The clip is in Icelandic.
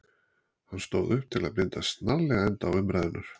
Hann stóð upp til að binda snarlega enda á umræðurnar.